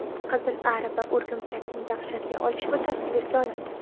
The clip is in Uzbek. Qizil ari va o‘rgimchakning dahshatli olishuvi tasvirga olindi .